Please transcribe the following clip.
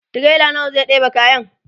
tirela nawa zai ɗeba be kayan?